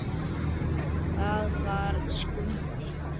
Það var Skundi.